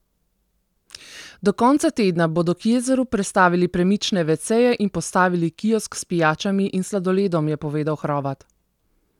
Do konca tedna bodo k jezeru prestavili premične veceje in postavili kiosk s pijačami in sladoledom, je povedal Hrovat.